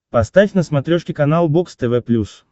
поставь на смотрешке канал бокс тв плюс